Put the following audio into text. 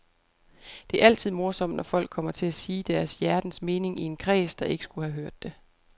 Det er altid morsomt, når folk kommer til at sige deres hjertens mening i en kreds, der ikke skulle have hørt det.